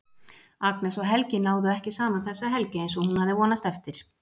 Agnes og Helgi náðu ekki saman þessa helgi eins og hún hafði vonast eftir.